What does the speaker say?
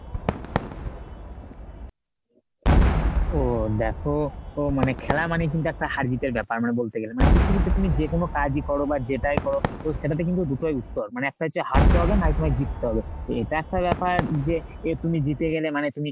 ও দেখো তো খেলা মানে কিন্তু একটা হার জিতের ব্যাপার মানে বলতে গেলে। মানে পৃথিবীতে তুমি যে কোন কাজই করো বা যেটাই করো তো সেটাতে কিন্তু দুটোই উত্তর মানে একটা হচ্ছে হারতে হবে নয় তোমার জিততে হবে। এটা একটা ব্যাপার যে এ তুমি জিতে গেলে মানে তুমি,